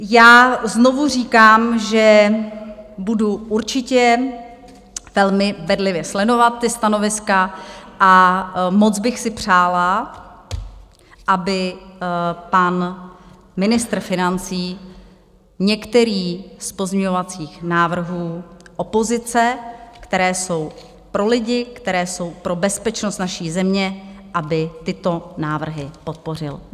Já znovu říkám, že budu určitě velmi bedlivě sledovat ta stanoviska, a moc bych si přála, aby pan ministr financí některý z pozměňovacích návrhů opozice, které jsou pro lidi, které jsou pro bezpečnost naší země, aby tyto návrhy podpořil.